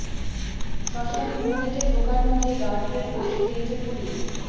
শ্মশানের মূল গেটে ঢোকার মুখে গার্ডরেল বসিয়ে দিয়েছে পুলিশ